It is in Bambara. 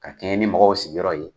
K'a kɛɲɛ ni mɔgɔw sigiyɔrɔ ye